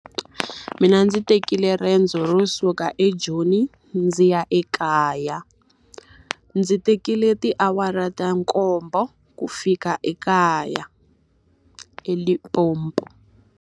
Mina ndzi tekile riendzo ro suka eJoni ndzi ya ekaya. Ndzi tekile tiawara ta nkombo ku fika ekaya eLimpopo.